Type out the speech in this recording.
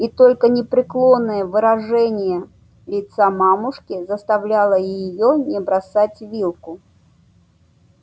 и только непреклонное выражение лица мамушки заставляло её не бросать вилку